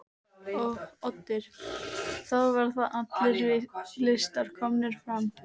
Oddur: Þá verða allir listar komnir fram?